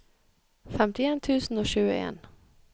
femtien tusen og tjueen